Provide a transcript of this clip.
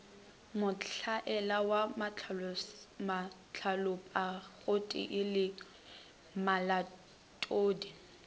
mohlwaela wa mahlalopagotee le malatodi